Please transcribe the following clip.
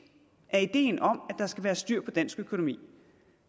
af ideen om at der skal være styr på dansk økonomi